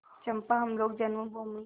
चंपा हम लोग जन्मभूमि